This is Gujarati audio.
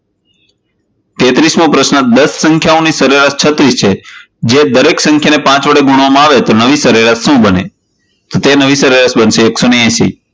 તેત્રિશમો પ્રશ્ન, દશ સંખ્યાની સરેરાશ છત્રીસ છે, જો દરેક સંખ્યાને પાંચ વડે ગુણવામાં આવે તો નવી સરેરાશ શું બને? તો તે નવી સરેરાશ બનશે એક સો એશી.